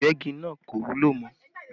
Ìgbẹ́gi náà kò wúlò mọ́